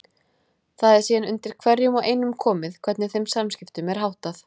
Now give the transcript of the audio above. Það er síðan undir hverjum og einum komið hvernig þeim samskiptum er háttað.